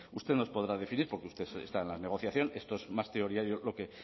bueno usted nos podrá definir porque usted está en la negociación esto es más teoría lo que